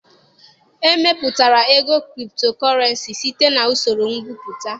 E mepụtara ego Kriptokurenci site na usoro Ngwuputa.